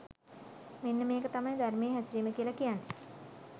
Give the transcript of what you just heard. මෙන්න මේක තමයි ධර්මයේ හැසිරීම කියලා කියන්නේ